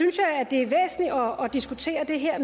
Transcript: jeg væsentligt at diskutere det her